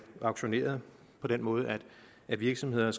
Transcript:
auktioneret på den måde at virksomhederne